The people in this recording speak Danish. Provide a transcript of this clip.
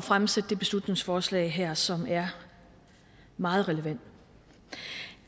fremsat de beslutningsforslag her som er meget relevante